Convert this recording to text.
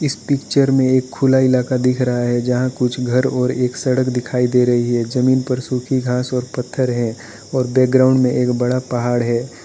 इस पिक्चर में एक खुला इलाका दिख रहा है जहां कुछ घर और एक सड़क दिखाई दे रही है जमीन पर सूखी घास और पत्थर है और बैकग्राउंड में एक बड़ा पहाड़ है।